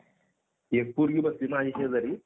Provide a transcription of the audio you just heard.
हो शाळेत ना?